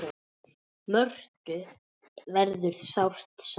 Mörthu verður sárt saknað.